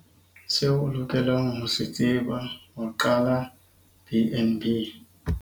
Seo o lokelang ho se tseba ho qala BnB.